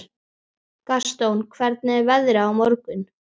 Gaston, hvernig er veðrið á morgun?